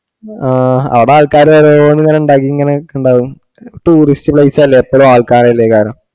ആ ആട ആൾക്കാര് ഓരോന്ന് ഇങ്ങനെ ഇണ്ടാക്കി ഇങ്ങനെ നിക്ക്ണ്ടാവും tourist place അല്ലെ എപ്പഴും ആൾക്കാരെ അല്ലെ കാണാ.